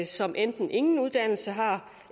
som enten ingen uddannelse havde